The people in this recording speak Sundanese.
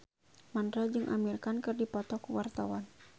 Mandra jeung Amir Khan keur dipoto ku wartawan